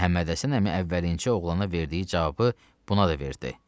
Məhəmməd Həsən əmi əvvəlincə oğlana verdiyi cavabı buna da verdi.